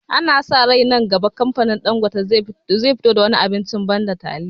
Ana sa rai nan gaba kamfanin Ɗangote zai fito da wani abincin banda taliya